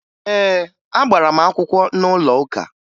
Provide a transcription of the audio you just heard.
Ee, agbara m akwụkwọ n'ụlọụka